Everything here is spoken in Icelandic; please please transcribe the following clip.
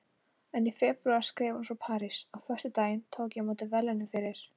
En í febrúar skrifar hún frá París: Á föstudaginn tók ég á móti verðlaununum fyrir